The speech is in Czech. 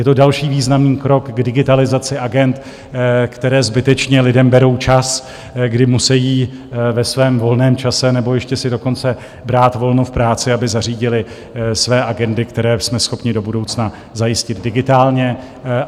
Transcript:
Je to další významný krok k digitalizaci agend, které zbytečně lidem berou čas, kdy musejí ve svém volném čase, nebo ještě si dokonce brát volno v práci, aby zařídili své agendy, které jsme schopni do budoucna zajistit digitálně.